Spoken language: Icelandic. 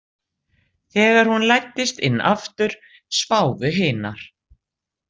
Þegar hún læddist inn aftur sváfu hinar.